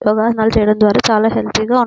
యోగాసనాలు చేయడం ద్వారా చాలా హెల్తీ గా--